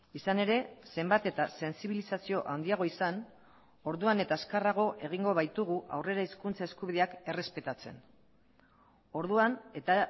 izan ere zenbat eta sentsibilizazioa handiagoa izan orduan eta azkarrago egingo baitugu aurrera hizkuntza eskubideak errespetatzen orduan eta